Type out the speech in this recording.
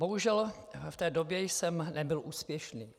Bohužel, v té době jsem nebyl úspěšný.